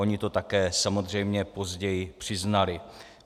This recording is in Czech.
Oni to také samozřejmě později přiznali.